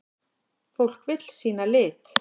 Fólk vill sýna lit.